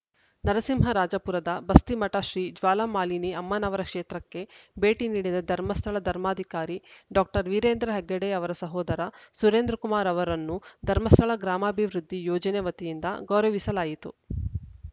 ನರಸಿಂಹರಾಜಪುರದ ಬಸ್ತಿಮಠ ಶ್ರೀ ಜ್ವಾಲಾಮಾಲಿನಿ ಅಮ್ಮನವರ ಕ್ಷೇತ್ರಕ್ಕೆ ಭೇಟಿ ನೀಡಿದ ಧರ್ಮಸ್ಥಳ ಧರ್ಮಾಧಿಕಾರಿ ಡಾಕ್ಟರ್ ವೀರೇಂದ್ರ ಹೆಗ್ಗಡೆ ಅವರ ಸಹೋದರ ಸುರೇಂದ್ರಕುಮಾರ್‌ ಅವರನ್ನು ಧರ್ಮಸ್ಥಳ ಗ್ರಾಮಾಭಿವೃದ್ಧಿ ಯೋಜನೆ ವತಿಯಿಂದ ಗೌರವಿಸಲಾಯಿತು